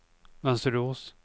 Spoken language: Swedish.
Mönsterås